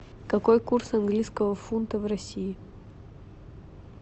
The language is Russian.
какой курс английского фунта в россии